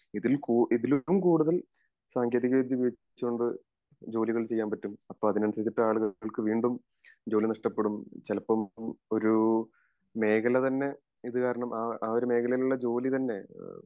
ഇതിൽ കൂ ഇതിലും കൂടുതൽ സാങ്കേതിക വിദ്യ ഉപയോഗിച്ച് കൊണ്ട് ജോലികൾ ചെയ്യാൻ പറ്റും അപ്പൊ അതിന് അനുസരിച്ചിട്ടാണ് ജനങ്ങൾക്ക് വീണ്ടും ജോലി നഷ്ടപ്പെടും ചേലപ്പോം ഒരു മേഖല തന്നെ ഇത് കാരണം ആ ഒരു മേഖലയിലുള്ള ജോലി തന്നെ